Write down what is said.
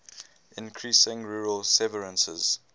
increasing rural severances